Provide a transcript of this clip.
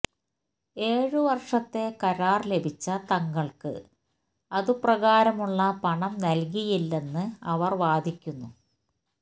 ഏഴു വർഷത്തെ കരാർ ലഭിച്ച തങ്ങൾക്ക് അതുപ്രകാരമുള്ള പണം നൽകിയില്ലെന്ന് അവർ വാദിക്കുന്നു